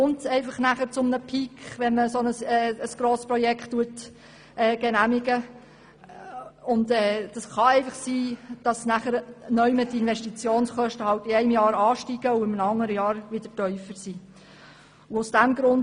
Es gibt zwangsläufig einen Peak bei solchen Projekten, und es kann sein, dass die Investitionskosten dadurch während eines Jahres viel höher sind und danach wieder sinken.